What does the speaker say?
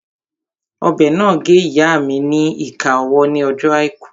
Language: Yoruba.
Ọ̀bẹ náà gé ìyáa mi ni ìka ọwọ́ ní ọjọ́ àìkú